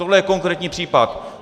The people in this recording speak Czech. Tohle je konkrétní případ.